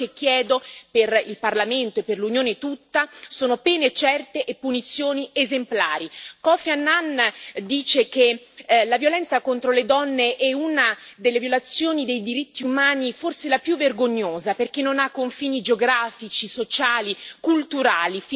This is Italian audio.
Quello che chiedo, per il Parlamento e per l'Unione tutta, sono pene certe e punizioni esemplari. Kofi Annan dice che la violenza contro le donne è una delle violazioni dei diritti umani, forse la più vergognosa, perché non ha confini geografici, sociali o culturali.